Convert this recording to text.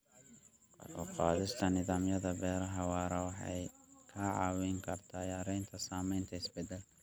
Kor u qaadista nidaamyada beeraha waara waxay ka caawin kartaa yareynta saameynta isbeddelka.